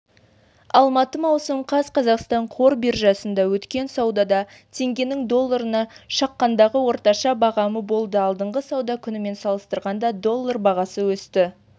алматы маусым қаз қазақстан қор биржасында өткен саудада теңгенің долларына шаққандағы орташа бағамы болды алдыңғы сауда күнімен салыстырғанда доллар бағасы өсті